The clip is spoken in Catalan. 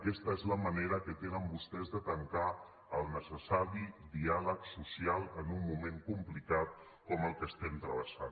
aquesta és la manera que tenen vostès de tancar el necessari diàleg social en un moment complicat com el que estem travessant